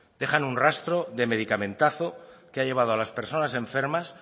dejan un rastro de medicamentazo que ha llevado a las personas enfermas